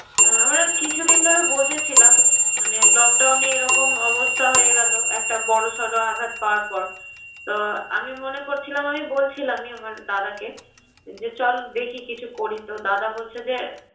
আমরা কিছুদিন ধরে বসেছিলাম মানে lockdown এ এরকম অবস্থা হয়ে গেলো, একটা বড়সড় আঘাত পাওয়ার পর, তো আমি মনে করছিলাম আমি বলছিলাম আমি আমার দাদাকে যে চল দেখি কিছু করি। তো দাদা বলছে যে